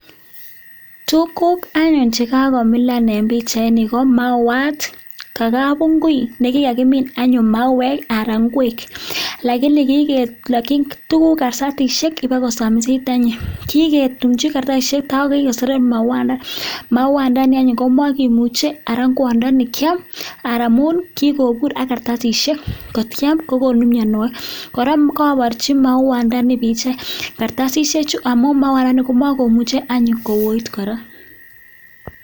Tuguk anyun chekakomilan anyun en bichait niton anyun ko mauwat ko kabingui nekakimin anyun mauwek anan ingwek lakini kikelaki tuguk kartasishek Kotor kosamisit anyun kiketumchi kartasishek tai kikoseret mauwat ndani mauwat ndani anyun komaimuche Ara ingwandaninkiam amun kikobur anyun ak kartasishek kotkiam kokonu mianwagik koraa kakobarchi mauwat ndani bichait kartasishek Chu amun mauwat komakomuche anyu5koi koraa